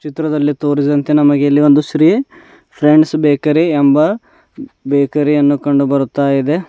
ಚಿತ್ರದಲ್ಲಿ ತೋರಿಸಿದಂತೆ ನಮಗೆ ಇಲ್ಲಿ ಒಂದು ಶ್ರೀ ಫ್ರೆಂಡ್ಸ್ ಬೇಕರಿ ಎಂಬ ಬೇಕರಿ ಯನ್ನು ಕಂಡುಬರುತ್ತಾಯಿದೆ.